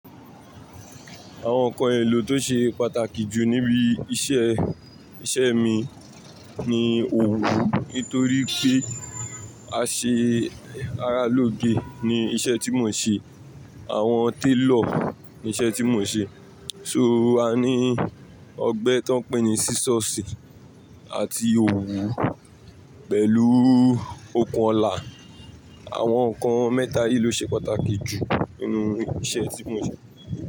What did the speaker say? Àwọn nǹkan èlò tó ṣe pàtàkì jù níbi iṣẹ́, iṣẹ́ mi ni òwú nítorí pé a ṣe ará lóge ni iṣẹ́ tí mò ń ṣe. Àwọn tailor ni iṣẹ́ tí mò ń ṣe. So a ní ọgbẹ́ tó ń pè ní Sísọ̀sì àti òwú pẹ̀lú okùn ọlá. Àwọn nǹkan mẹ́ta yìí ló ṣe pàtàkì jù nínú iṣẹ́ tí mò ń ṣe.